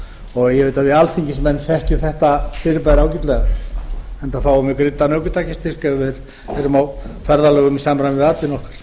og ég veit að við alþingismenn þekkjum þetta fyrirbæri ágætlega enda fáum við greiddan ökutækjastyrk ef við erum á ferðalögum í samræmi við atvinnu okkar